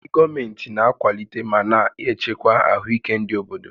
Ndị gọọmentị na-akwalite ma na-echekwa ahụike ndị obodo